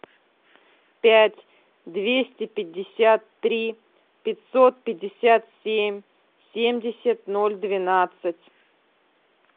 пять двести пятьдесят три пятьсот пятьдесят семь семьдесят ноль двенадцать